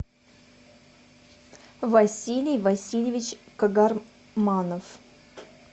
василий васильевич кагарманов